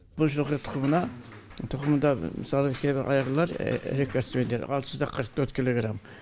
бұл жылқы тұқымында мысалы кейбір айғырлар рекордсмендер алты жүз да қырық төрт килограмм